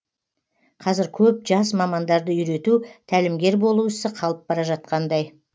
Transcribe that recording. қазір көп жас мамандарды үйрету тәлімгер болу ісі қалып бара жатқандай